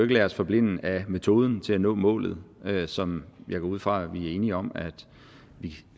lade os forblinde af metoden til at nå målet som jeg går ud fra vi er enige om at vi